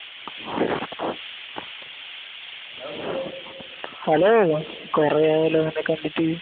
hello കൊറേ ആയല്ലോ അന്നെ കണ്ടിട്ട്